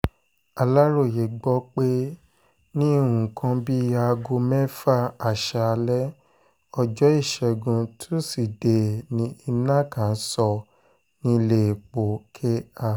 aláròye gbọ́ pé ní nǹkan bíi aago mẹ́fà aṣáálẹ̀ ọjọ́ ìṣẹ́gun tusidee ni iná kan sọ nílẹ̀ẹ́po kr